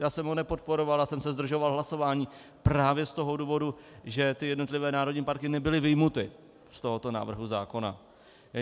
Já jsem ho nepodporoval, já jsem se zdržoval hlasování právě z toho důvodu, že ty jednotlivé národní parky nebyly vyjmuty z tohoto návrhu zákona.